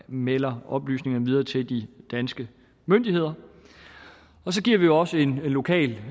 melder oplysningerne videre til de danske myndigheder så giver vi jo også en lokal